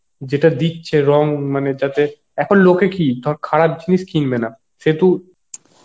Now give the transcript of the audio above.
যেটা দিচ্ছে রং মানে যাতে এখন লোকে কি ধর খারাপ জিনিস কিনবে না সেহেতু